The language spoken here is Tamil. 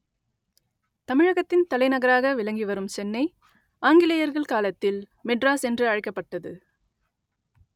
தமிழகத்தின் தலைநகராக விளங்கிவரும் சென்னை ஆங்கிலேயர்கள் காலத்தில் மெட்ராஸ் என்று அழைக்கப்பட்டது